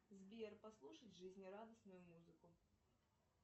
сбер послушать жизнерадостную музыку